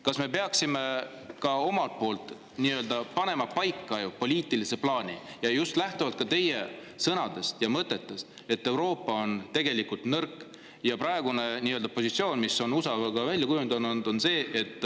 Kas me peaksime ka panema paika poliitilise plaani just lähtuvalt teie sõnadest ja mõtetest, et Euroopa on tegelikult nõrk ja praegune positsioon, mis on USA-l välja kujunenud, on see, et …